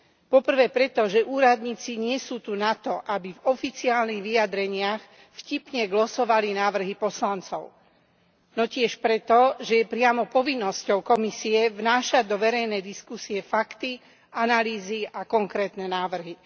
Po prvé preto, že úradníci tu nie sú na to, aby v oficiálnych vyjadreniach vtipne glosovali návrhy poslancov, no tiež preto, že je priamo povinnosťou Komisie vnášať do verejnej diskusie fakty, analýzy a konkrétne návrhy.